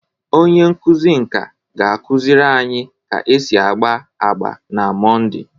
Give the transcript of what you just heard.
Onye nkuzi nka ga-akụziri anyị ka esi agba agba na Mọnde.